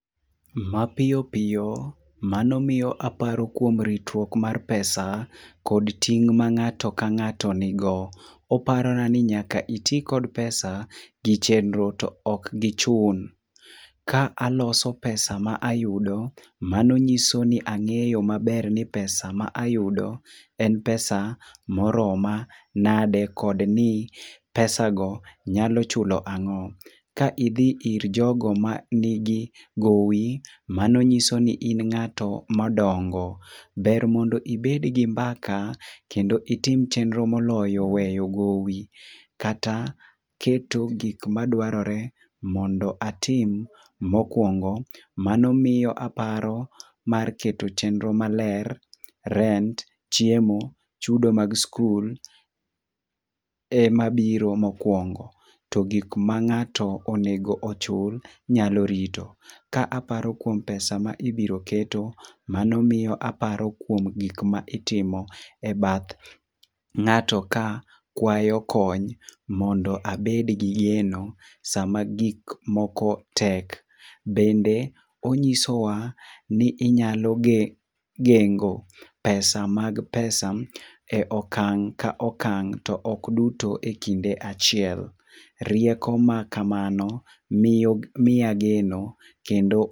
Mapiyo piyo mano miyo aparo kuom ritruok mar pesa, kod ting' ma ng'ato kang'ato nigo. Oparona ni nyaka iti kod pesa gi chenro to ok gi chun. Ka aloso pesa ma ayudo. Mano nyiso ni ang'eyo maber ni pesa ma ayudo en pesa moroma nade kod ni pesa go nyalo chulo ang‘o. Ka idhi ir jogo mani gi gowi, mano nyiso ni in ng'ato madongo. Ber mondo ibed gi mbaka kendo itim chenro moloyo weyo gowi. Kata keto gik madwarore mondo atim mokwongo, mano miyo aparo mar keto chenro maler. Rent, chiemo, chudo mag skul ema biro mokuongo. To gik ma ng'ato onego chul, nyalo rito. Ka aparo kuom pesa ma ibiro keto, mano miyo aparo kuom gik ma itimo ebath ng'ato ka kwayo kony mondo abed gi geno sama gik moko tek. Bende onyisowa ni inyalo gengo pesa mag pesa e okang' ka okang' to ok duto ekinde achiel. Rieko ma kamano miya geno kendo